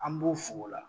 An b'u fo o la